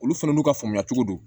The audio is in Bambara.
Olu fɛnɛ n'u ka faamuya cogo do